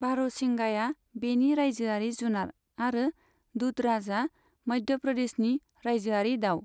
बारहसिंगाया बेनि रायजोआरि जुनार आरो दूधराजआ मध्य प्रदेशनि रायजोआरि दाउ।